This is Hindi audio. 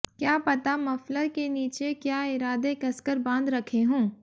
क्या पता मफलर के नीचे क्या इरादे कसकर बांध रखे हों